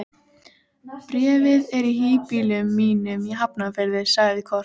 Bréfið er í híbýlum mínum í Hafnarfirði, sagði Kort.